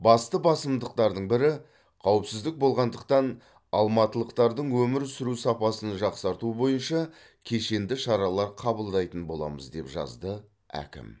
басты басымдықтардың бірі қауіпсіздік болғандықтан алматылықтардың өмір сүру сапасын жақсарту бойынша кешенді шаралар қабылдайтын боламыз деп жазды әкім